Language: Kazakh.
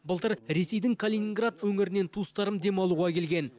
былтыр ресейдің калининград өңірінен туыстарым демалуға келген